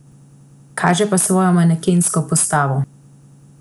Kaže pa svojo manekensko postavo.